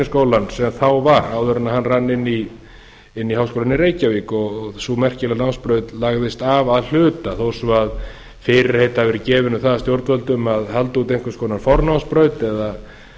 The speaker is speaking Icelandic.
tækniháskólann sem þá var áður en hann rann inn í háskólann í reykjavík og sú merkilega námsbraut lagðist af að hluta þó svo að fyrirheit hafi verið gefin um það af stjórnvöldum að halda úti einhvers konar fornámsbraut